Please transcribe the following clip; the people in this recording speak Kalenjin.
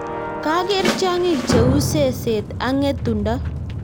Kageer tyongik che uu seseet ak ng'etundo